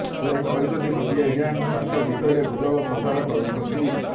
ସେ କହିଛନ୍ତି ଗୋଟିଏ ଗ୍ୟାଙ୍ଗ ତାଙ୍କ ବିଷୟରେ ଗୁଜବ ପ୍ରଚାର କରୁଛନ୍ତି